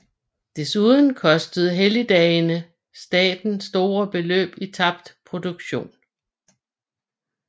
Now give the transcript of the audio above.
Desuden kostede helligdagene staten store beløb i tabt produktion